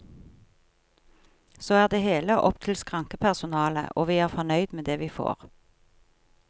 Så er det hele opp til skrankepersonalet, og vi er fornøyd med det vi får.